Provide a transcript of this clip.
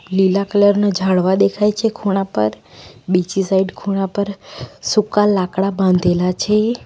લીલા કલર ના ઝાડવા દેખાય છે ખૂણા પર બીજી સાઈડ ખૂણા પર સૂકા લાકડા બાંધેલા છે.